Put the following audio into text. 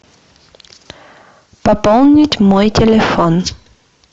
пополнить мой телефон